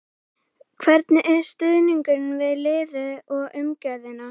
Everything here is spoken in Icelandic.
Hvernig er stuðningurinn við liðið og umgjörðin?